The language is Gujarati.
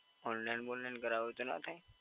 Online વોનલાઈન કરાવવું હોય તો ના થાય?